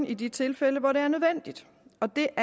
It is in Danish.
i de tilfælde hvor det er nødvendigt og det er